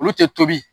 Olu tɛ tobi